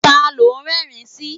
Ta ló ń rẹ́rìn-ín sí?